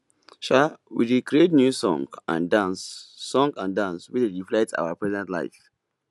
um we dey create new song and dance song and dance wey dey reflect our present life